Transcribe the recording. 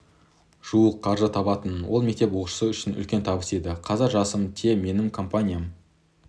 жуық қаржы табатынмын ол мектеп оқушысы үшін үлкен табыс еді қазір жасым те менің компаниям